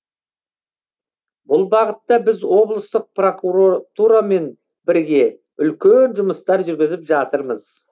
бұл бағытта біз облыстық прокуратурамен бірге үлкен жұмыстар жүргізіп жатырмыз